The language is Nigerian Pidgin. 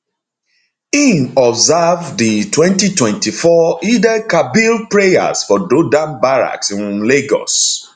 im observe di 2024 eidelkabir prayers for dodan barracks um lagos